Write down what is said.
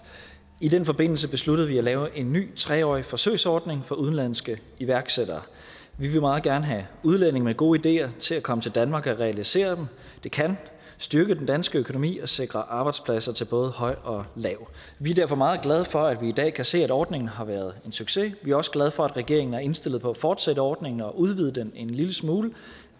i den forbindelse besluttede vi at lave en ny tre årig forsøgsordning for udenlandske iværksættere vi vil meget gerne have udlændinge med gode ideer til at komme til danmark og realisere dem det kan styrke den danske økonomi og sikre arbejdspladser til både høj og lav vi er derfor meget glade for at vi i dag kan se at ordningen har været en succes vi er også glade for at regeringen er indstillet på at fortsætte ordningen og udvide den en lille smule